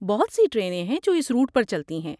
بہت سی ٹرینیں ہیں جو اس روٹ پر چلتی ہیں۔